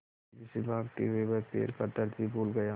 तेज़ी से भागते हुए वह पैर का दर्द भी भूल गया